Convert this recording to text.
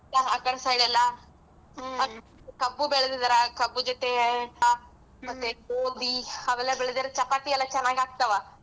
ಆಕಡೆ side ಎಲ್ಲಾ ಕಬ್ಬು ಬೆಳೆದಿದ್ದೀರಾ ಕಬ್ಬು ಜೊತೆ ಮತ್ತೆ ಗೋಧಿ ಅವೆಲ್ಲಾ ಬೆಳೆದ್ರ್ ಚಪಾತಿ ಎಲ್ಲಾ ಚನ್ನಾಗಾಗ್ತವಾ.